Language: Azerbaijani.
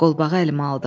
Qolbağı əlimə aldım.